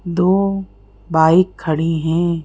दो बाइक खड़ी हैं।